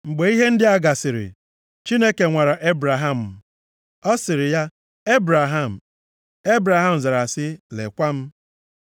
Mgbe ihe ndị a gasịrị, Chineke nwara Ebraham. Ọ sịrị ya, “Ebraham.” Ebraham zara sị, “Lekwa m.”